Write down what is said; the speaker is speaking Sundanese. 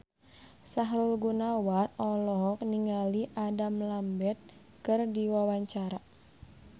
Sahrul Gunawan olohok ningali Adam Lambert keur diwawancara